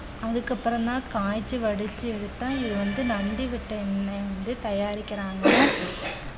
அதுக்கப்புறம்தான் காய்ச்சி வடிச்சு எடுத்தா இது வந்து நந்தி வட்டை எண்ணெய் வந்து தயாரிக்கிறாங்க